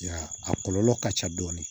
I y'a a kɔlɔlɔ ka ca dɔɔni